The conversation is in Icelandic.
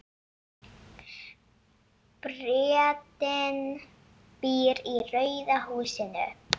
Bretinn býr í rauða húsinu.